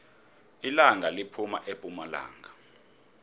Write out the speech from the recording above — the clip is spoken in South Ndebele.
ilanga liphuma epumalanga